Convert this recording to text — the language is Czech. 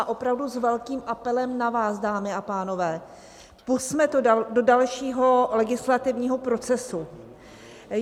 A opravdu s velkým apelem na vás, dámy a pánové, pusťme to do dalšího legislativního procesu.